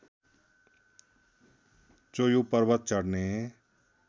चोयु पर्वत चढ्ने